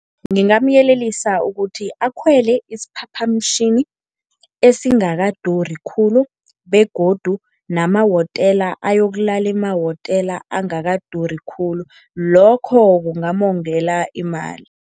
Ngingamyelelisa ukuthi akhwele isiphaphamtjhini esingakaduri khulu begodu namahotela, ayokulala emahotela angakarudi khulu, lokho kungamongela imali.